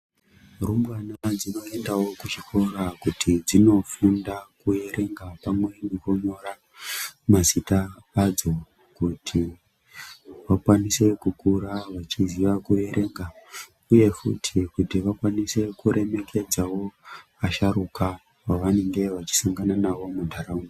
Rumbwana ndinoendawo kuchikora kuti dzinofunda kuerenga pamwe nekunyora mazita adzo kuti vakwanise kukura vachiziya kuerenga uye futi kuti vakwanise kuremeredza asharuka vavanenge vachisangana navo munharaunda.